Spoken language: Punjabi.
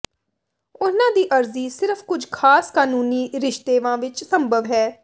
ਉਨ੍ਹਾਂ ਦੀ ਅਰਜ਼ੀ ਸਿਰਫ ਕੁਝ ਖਾਸ ਕਾਨੂੰਨੀ ਰਿਸ਼ਤੇਵਾਂ ਵਿਚ ਸੰਭਵ ਹੈ